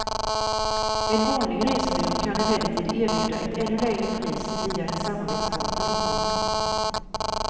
En vanlig resebyrå kan emellertid erbjuda ett ännu lägre pris via en samarbetspartner de har.